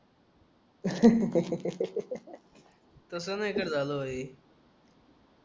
तसं नाय का झालंय हे